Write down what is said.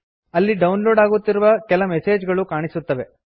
ಅಲ್ಲಿ download ಆಗುತ್ತಿರುವ ಕೆಲ ಮೆಸೇಜ್ ಗಳು ಕಾಣಿಸುತ್ತವೆ